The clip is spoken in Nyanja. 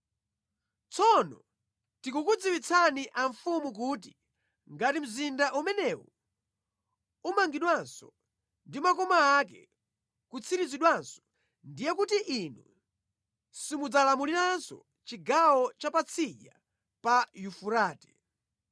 Tsono tikukudziwitsani amfumu kuti ngati mzinda umenewu umangidwanso ndi makoma ake nʼkutsirizidwanso ndiye kuti inu simudzalamuliranso chigawo cha patsidya pa Yufurate.